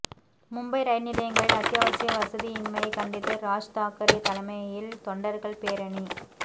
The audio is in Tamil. மும்பை ரயில் நிலையங்களில் அத்தியாவசிய வசதியின்மையை கண்டித்து ராஜ் தாக்கரே தலைமையில் தொண்டர்கள் பேரணி